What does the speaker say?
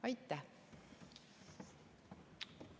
Aitäh!